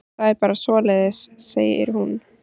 Það er bara svoleiðis, segir hún.